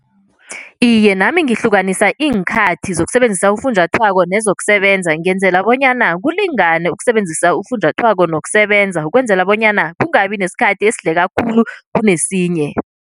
Iye, nami ngihlukanisa iinkhathi zokusebenzisa ufunjathwako nezokusebenza ngenzela bonyana kulingane ukusebenzisa ufunjathwako nokusebenza ukwenzela bonyana kungabi nesikhathi esidleka khulu kunesinye.